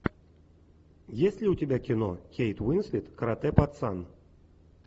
есть ли у тебя кино кейт уинслет каратэ пацан